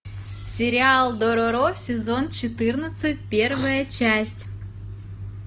сериал дороро сезон четырнадцать первая часть